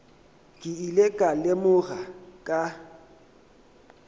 ke ile ka lemoga ka